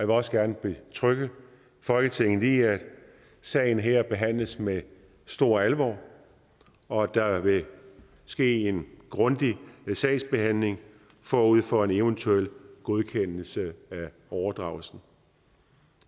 vil også gerne betrygge folketinget i at sagen her behandles med stor alvor og at der vil ske en grundig sagsbehandling forud for en eventuel godkendelse af overdragelsen